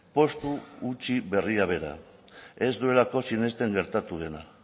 postu utzi berria bera ez duelako sinesten gertatu dena